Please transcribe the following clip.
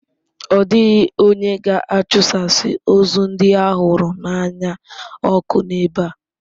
Ọ dịghị onye ga-achụsasị ozu ndị ha hụrụ n'anya ọkụ n'ebe a.